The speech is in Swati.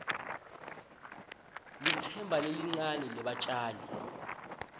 litsemba lelincane lebatjali